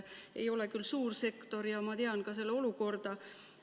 Ei ole küll suur sektor ja ma tean selle olukorda.